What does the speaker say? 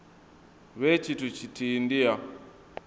vhe tshithu tshithihi ndi ya